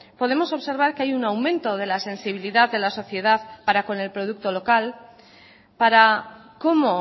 podemos observar que hay un aumento de la sensibilidad de la sociedad para con el producto local para cómo